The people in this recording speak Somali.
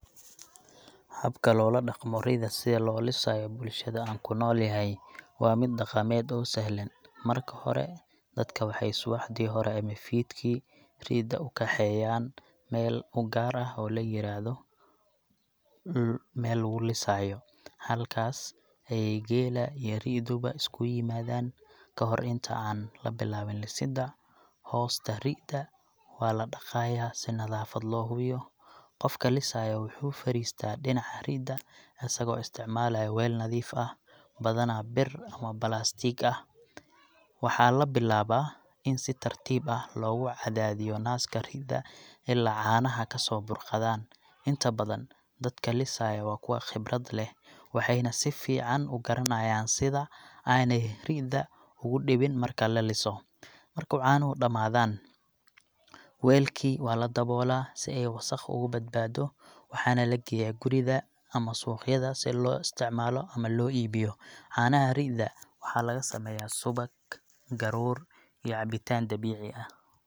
Habka loola dhaqmo ri’da si loo lisayo bulshada aan ku noolyahay waa mid dhaqameed oo sahlan. Marka hore, dadka waxay subaxdii hore ama fiidkii ri’da u kaxeeyaan meel u gaar ah oo la yiraahdo meel lagu lisaayo. Halkaas ayeey geela iyo ri’duba isugu yimaadaan. Ka hor inta aan la bilaabin lisidda, hoosta ri’da waa la dhaqaayaa si nadaafad loo hubiyo. Qofka lisayo wuxuu fadhiistaa dhinaca ri’da, isagoo isticmaalaya weel nadiif ah, badanaa bir ama balaastiig ah. Waxaa la bilaabaa in si tartiib ah loogu cadaadiyo naaska ri’da ilaa caanaha ka soo burqadaan. Inta badan, dadka lisaya waa kuwa khibrad leh, waxayna si fiican u garanayaan sida aanay ri’da ugu dhibin marka la liso. Marku caanuhu dhamaadaan, weelkii waa la daboolaa si ay wasakh uga badbaado, waxaana la geeyaa guriga ama suuqyada si loo isticmaalo ama loo iibiyo. Caanaha ri’da waxaa laga sameeyaa subag, garoor, iyo cabitaan dabiici ah.